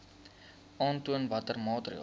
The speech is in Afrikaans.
aantoon watter maatreëls